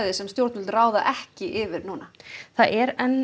sem stjórnvöld ráða ekki yfir núna það er enn